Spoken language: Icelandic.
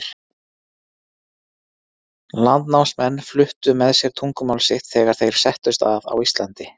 Landnámsmenn fluttu með sér tungumál sitt þegar þeir settust að á Íslandi.